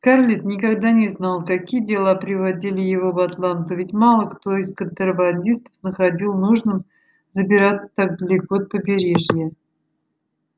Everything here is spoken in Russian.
скарлетт никогда не знала какие дела приводили его в атланту ведь мало кто из контрабандистов находил нужным забираться так далеко от побережья